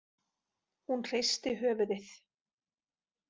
Hún hristi höfuðið.